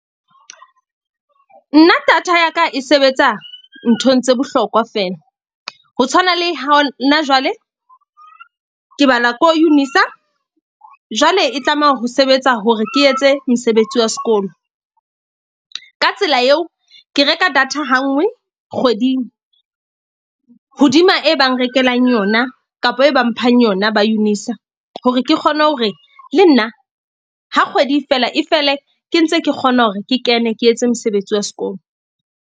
Nna data ya ka e sebetsa nthong tse bohlokwa feela. Ho tshwana le hona jwale, ke bala ko UNISA jwale e tlameha ho sebetsa hore ke etse mosebetsi wa sekolo. Ka tsela eo ke reka data ha nngwe kgweding, hodima e bang rekelang yona kapa e bang mphang yona ba UNISA hore ke kgone hore le nna ha kgwedi e fela e fele, ke ntse ke kgona hore ke kene ke etse mosebetsi wa sekolo.